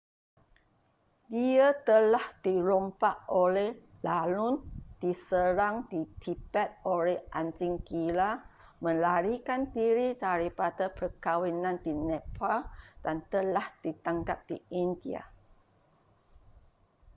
dia telah dirompak oleh lanun diserang di tibet oleh anjing gila melarikan diri daripada perkahwinan di nepal dan telah ditangkap di india